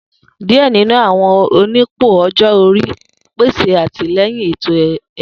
Diẹ ninu awọn onipò ọjọ ori pese atilẹyin eto-ẹkọ.